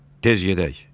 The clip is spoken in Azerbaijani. Tez gedək.